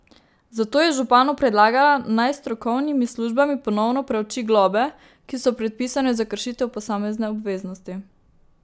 Zato je županu predlagala, naj s strokovnimi službami ponovno preuči globe, ki so predpisane za kršitev posamezne obveznosti.